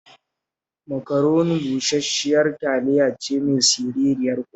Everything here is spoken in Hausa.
Macaroni bushash-shiyar taliya ce mai siririyar ƙofa